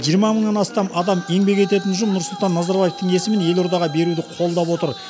жиырма мыңнан астам адам еңбек ететін ұжым нұрсұлтан назарбаевтың есімін елордаға беруді қолдап отыр